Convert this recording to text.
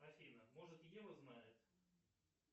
афина может ева знает